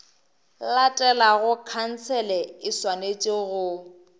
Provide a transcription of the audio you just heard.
latelago khansele e swanetše go